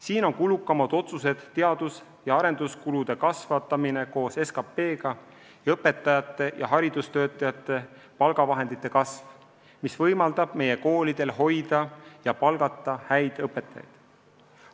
Siin on kulukamad otsused teadus- ja arenduskulude kasvatamine koos SKP-ga ning õpetajate ja haridustöötajate palgafondi kasv, mis võimaldab meie koolidel hoida ja palgata häid õpetajaid.